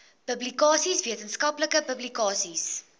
publikasies wetenskaplike publikasies